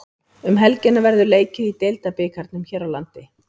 Um helgina verður leikið í Deildabikarnum hér landi.